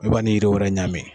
I b'a ni yiri wɛrɛ ɲami